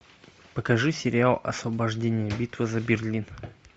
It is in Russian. покажи сериал освобождение битва за берлин